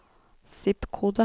zip-kode